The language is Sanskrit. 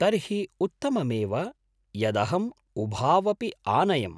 तर्हि उत्तममेव यदहम् उभावपि आनयम्।